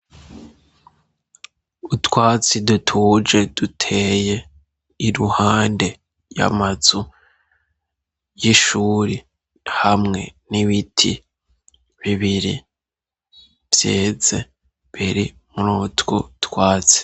Utwatsi dutuje, duteye iruhande y'amazu y'ishuri, hamwe n'ibiti bibiri vyeze imbere muri utwo twatsi.